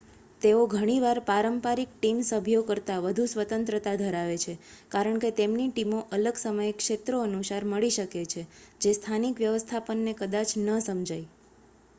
તેઓ ઘણીવાર પારંપરિક ટીમ સભ્યો કરતાં વધુ સ્વતંત્રતા ધરાવે છે કારણ કે તેમની ટીમો અલગ સમય ક્ષેત્રો અનુસાર મળી શકે છે જે સ્થાનિક વ્યવસ્થાપનને કદાચ ન સમજાય